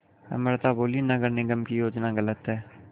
अमृता बोलीं नगर निगम की योजना गलत है